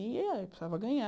E, precisava ganhar.